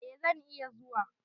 Eh zan iya zuwa.